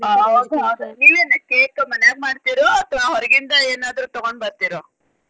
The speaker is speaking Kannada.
ಹೌದ ಹೌದ ನಿವೇನ cake ಮನ್ಯಾಗ ಮಾಡ್ತೀರೊ ಅಥವಾ ಹೊರಗಿಂದ ಏನಾದ್ರು ತುಗೊಂಡ ಬರ್ತಿರೊ?